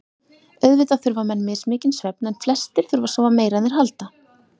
Auðvitað þurfa menn mismikinn svefn en flestir þurfa að sofa meira en þeir halda.